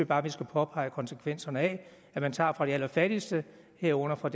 bare at vi skal påpege konsekvenserne af at man tager fra de allerfattigste herunder fra